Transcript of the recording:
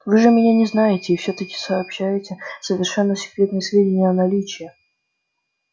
вы же меня не знаете и всё таки сообщаете совершенно секретные сведения о наличии